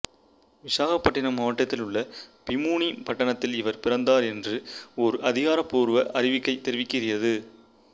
விசாகப்பட்டினம் மாவட்டத்தில் உள்ள பீமுனிபட்டணத்தில் இவர் பிறந்தார் என்று ஒரு அதிகாரப்பூர்வ அறிக்கை தெரிவிக்கிறது